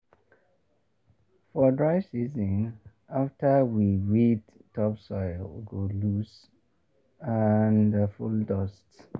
for dry season after we weed topsoil go loose and full dust.